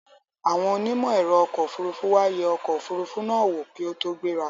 Àwọn onímọ̀ ẹ̀ro ọkò òfurufú wá yẹ ọkò òfurufú náà wò kí ó tó gbẹ́ra.